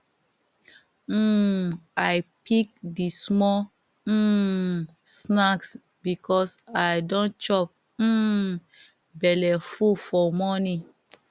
um i pick d small um snacks because i don chop um belle full for morning